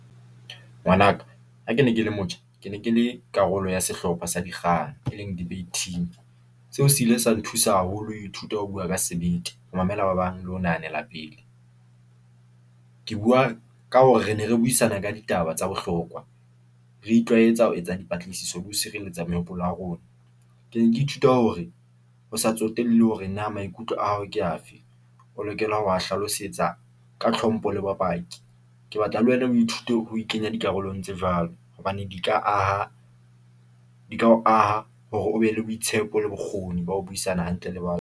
Ngwanaka ha kene kele motjha. Ke ne ke le karolo ya sehlopha sa dikgang, e leng debate team. Seo se ile sa nthusa haholo ho ithuta ho bua ka sebete, ho mamela ba bang, le ho nahanela pele. Ke bua ka hore re ne re buisana ka ditaba tsa bohlokwa, re itlwaetsa ho etsa dipatlisiso le ho sireletsa mehopolo ya rona. Ke ne ke ithuta hore ho sa tsotelle hore na maikutlo a hao ke afe, o lokela ho wa hlalosetsa ka tlhompho le bopaki. Ke batla le wena o ithute ho ikenya dikarolong tse jwalo, hobane di ka aha di ka o aha hore o be le boitshepo le bokgoni ba ho buisana hantle le .